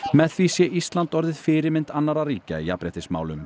með því sé Ísland orðið fyrirmynd annarra ríkja í jafnréttismálum